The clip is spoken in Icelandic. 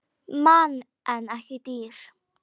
Mann en ekki dýr.